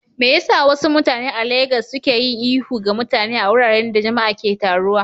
Me yasa wasu mutane a Legas suke yin ihu ga mutane a wuraren da jama'a ke taruwa?